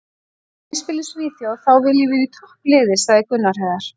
Ef ég spila í Svíþjóð þá vil ég vera í toppliði, sagði Gunnar Heiðar.